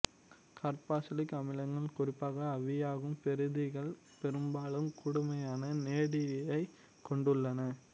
carboxylic அமிலங்கள் குறிப்பாக ஆவியாகும் பெறுதிகள் பெரும்பாலும் கடுமையான நெடியைக் கொண்டுள்ளன